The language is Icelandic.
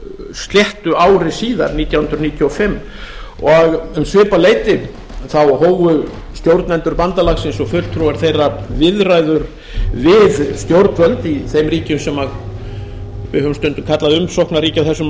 sléttu ári síðar nítján hundruð níutíu og fimm um svipað leyti hófu stjórnendur bandalagsins og fulltrúar þeirra viðræður við stjórnvöld í þeim ríkjum sem við höfum stundum kallað umsóknarríki á þessum